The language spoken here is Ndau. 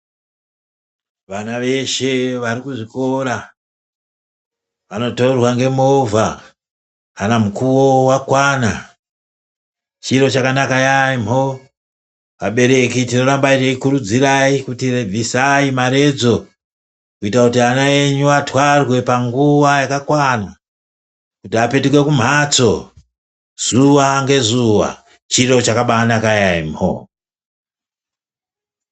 Vana veshe vari kuzvikora, vanotorwa ngemovha, kana mukuwo wakwana. Chiro chakanaka yaempho. Vabereki tinoramba teikukurudzirai kuti bvisai maredzo, kuita kuti ana enyu athwarwe panguwa yakakwana, kuti apetuke kumphatso, zuwa nge zuwa. Chiro chakabaanaka yaemho.